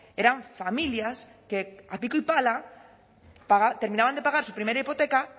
eran familias que a pico y pala terminaban de pagar su primera hipoteca